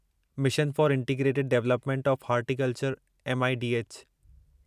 mission for integrated development of horticulture M I D H